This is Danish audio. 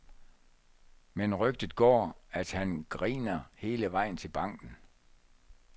Men rygtet går, at han griner hele vejen til banken.